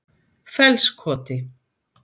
Fellskoti